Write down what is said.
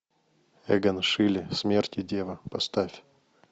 эгон шиле смерть и дева поставь